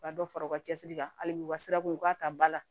U ka dɔ fara u ka cɛsiri kan hali bi u ka sirako u k'a ta ba la